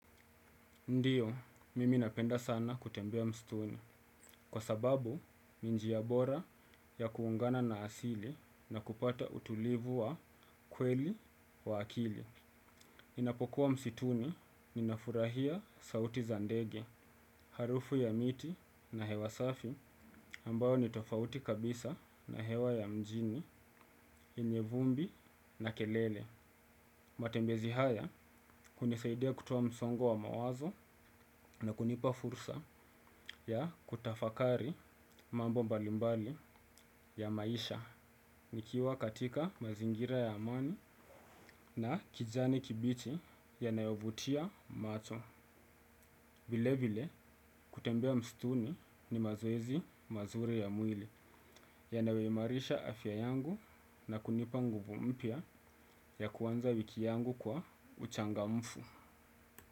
Ndio, mimi napenda sana kutembea msituni, kwa sababu ni njia bora ya kuungana na asili na kupata utulivu wa kweli wa akili. Inapokuwa msituni ninafurahia sauti za ndege, harufu ya miti na hewa safi ambayo ni tofauti kabisa na hewa ya mjini, yenye vumbi na kelele. Matembezi haya hunisaidia kutoa msongo wa mawazo na kunipa fursa ya kutafakari mambo mbalimbali ya maisha. Nikiwa katika mazingira ya amani na kijani kibichi yanayovutia macho vile vile kutembea msituni ni mazoezi mazuri ya mwili yanayo imarisha afya yangu na kunipa nguvu mpya ya kuanza wiki yangu kwa uchangamfu.